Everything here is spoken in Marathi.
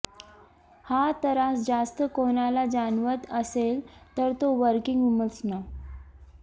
हा त्रास जास्त कोणाला जाणवत असेल तर तो वर्कींग वुमन्सना